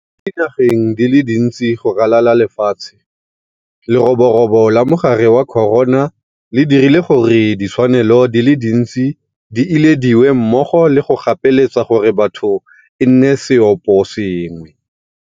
Mo dinageng di le dintse go ralala le lefatshe, lerobo robo la mogare wa corona le dirile gore ditshwanelo di le dintsi di ilediwe mmogo le go gapeletsa gore batho e nne seoposengwe.